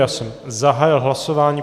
Já jsem zahájil hlasování.